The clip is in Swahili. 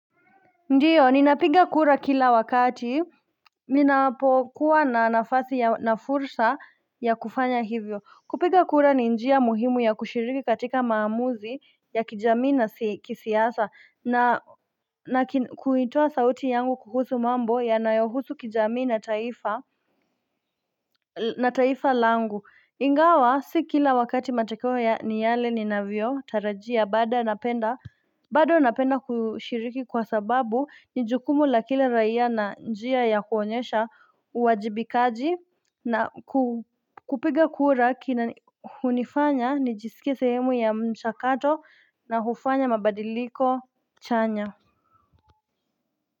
Ndiyo ninapinga kura kila wakati Ninapokuwa na nafasi ya nafursa ya kufanya hivyo kupinga kura ni njia muhimu ya kushiriki katika maamuzi ya kijamii na kisiasa na na kuitoa sauti yangu kuhusu mambo ya nayohusu kijamii na taifa na taifa langu ingawa si kila wakati matokeo ni yale ni navyo tarajia baada napenda bado napenda kushiriki kwa sababu nijukumu la kila raia na njia ya kuonyesha uwajibikaji na kupiga kura kinahunifanya nijisikia sehemu ya mchakato na hufanya mabadiliko chanya.